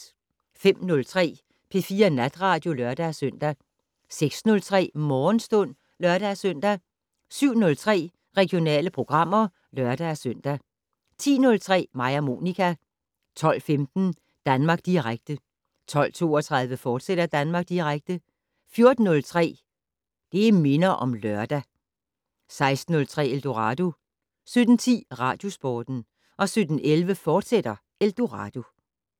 05:03: P4 Natradio (lør-søn) 06:03: Morgenstund (lør-søn) 07:03: Regionale programmer (lør-søn) 10:03: Mig og Monica 12:15: Danmark Direkte 12:32: Danmark Direkte, fortsat 14:03: Det' Minder om Lørdag 16:03: Eldorado 17:10: Radiosporten 17:11: Eldorado, fortsat